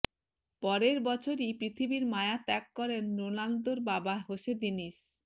পরের বছরই পৃথিবীর মায়া ত্যাগ করেন রোনালদোর বাবা হোসে দিনিস